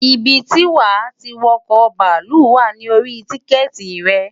Ibi tí wà tí wo̩kò̩ bàálù wà ní orí tíkè̩tì re̩.